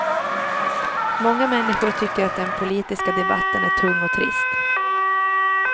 Många människor tycker att den politiska debatten är tung och trist.